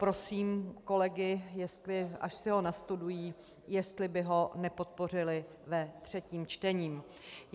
Prosím kolegy, až si ho nastudují, jestli by ho nepodpořili ve třetím čtení.